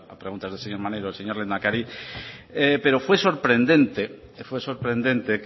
preguntas del señor maneiro el señor lehendakari pero fue sorprendente fue sorprendente